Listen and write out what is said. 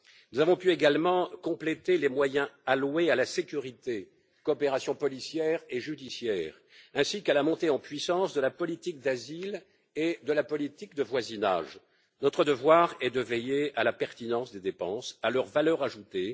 Nous avons pu également compléter les moyens alloués à la sécurité, à la coopération policière et judiciaire ainsi qu'à la montée en puissance de la politique d'asile et de la politique de voisinage. Notre devoir est de veiller à la pertinence des dépenses, à leur valeur ajoutée.